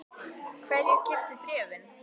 Hverjir keyptu bréfin?